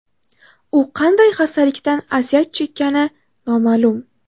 U qanday xastalikdan aziyat chekkani noma’lum.